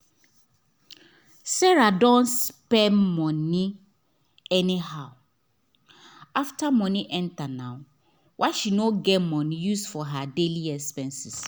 sarah don spend money anyhow after money enter nah why she no get money use for her daily expense